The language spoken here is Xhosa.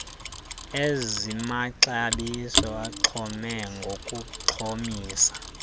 ezimaxabiso axhome ngokuxhomisa